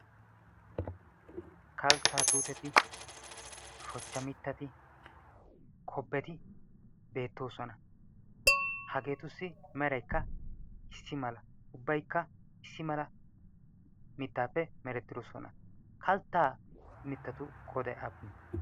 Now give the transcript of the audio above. kalttaa tuuteti shochcha mittati kobbeti beettoosona hageetussi meraykka issi mala ubbaikka issi mala mittaappe merettidoosona kalttaa mittatu qodai appune?